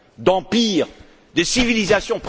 d'empires, de civilisations.